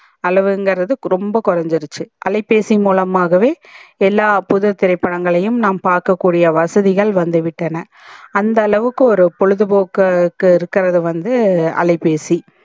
அளவு இங்கர்து வந்து ரொம்ப கோரஞ்சிடுச்சி அலைபேசி மூலமாகவே எல்லா புது திரைபடங்களையும் நாம் பாக்க கூடிய வசதிகல் வந்து விட்டன அந்த அளவுக்கு ஒரு பொழுது போக்கு க்கு இருக்கறது வந்து அலைபேசி